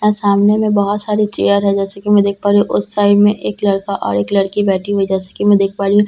अ सामने में बहोत सारी चेयर हैं जैसे कि मैं देख पा रही हूँ उस साइड में एक लड़का और एक लड़की बैठी हुई जैसे कि मैं देख पा रही हूँ।